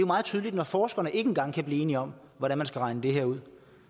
meget tydeligt at når forskerne ikke engang kan blive enige om hvordan man skal regne det her ud